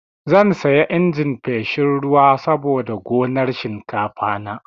Zan saya injin feshin ruwa saboda gonar shinkafana.